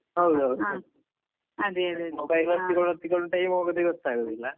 ಹೌದ್ ಹೌದು mobile ಒತ್ತಿಕೊಂಡು ಒತ್ತಿಕೊಂಡು time ಹೋಗುದೇ ಗೊತ್ತಾಗುವುದಿಲ್ಲ.